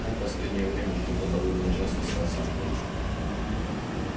он в последнее время что-то довольно часто стал сам звонить